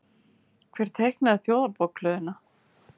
Hver teiknaði Þjóðarbókhlöðuna?